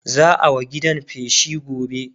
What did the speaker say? za'a wa gidan feshi gobe